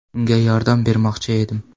Unga yordam bermoqchi edim.